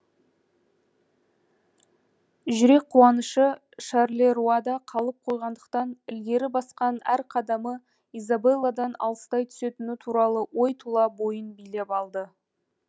жүрек қуанышы шарлеруада қалып қойғандықтан ілгері басқан әр қадамы изабелладан алыстай түсетіні туралы ой тұла бойын билеп алды